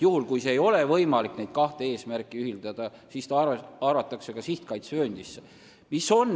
Juhul kui neid kahte eesmärki ei ole võimalik ühildada, siis arvatakse ala sihtkaitsevööndisse.